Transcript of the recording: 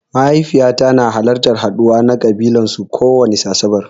Mahaifiƴata na halartan haɗuwa na ƙabilan su kowani asaɓar.